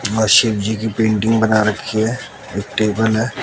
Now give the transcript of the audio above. व शिव जी की पेंटिंग बना रखी है एक टेबल है।